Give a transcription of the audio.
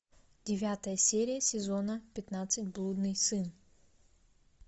девятая серия сезона пятнадцать блудный сын